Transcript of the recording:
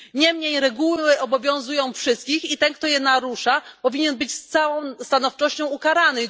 Niemniej reguły obowiązują wszystkich i ten, kto je narusza, powinien być z całą stanowczością ukarany.